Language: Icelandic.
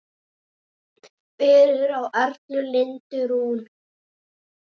Fyrir á Erla Lindu Rún.